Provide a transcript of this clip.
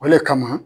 O le kama